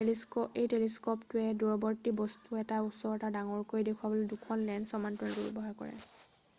এই টেলিস্ক'পটোৱে দূৰৱৰ্তী বস্তু এটা ওচৰত আৰু ডাঙৰকৈ দেখুৱাবলৈ 2 খন লেন্স সমান্তৰালভাৱে ব্যৱহাৰ কৰে